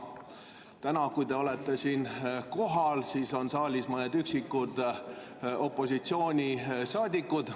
Täna, kui te olete siin kohal, on saalis ainult mõned üksikud opositsioonisaadikud.